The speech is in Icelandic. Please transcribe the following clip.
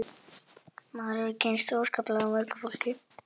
Maður hefur kynnst óskaplega mörgu fólki